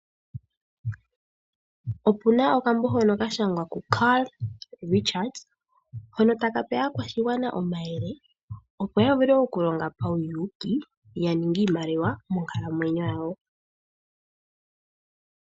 Opuna okambo hono kashangwa ku CARL RICHARDS hono taka pe aakwashigwana omayele opo yavule okulonga pawuyuki yaninge iimaliwa monkalamwenyo yawo.